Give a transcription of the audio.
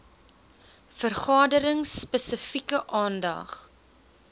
vergaderings spesifieke aandag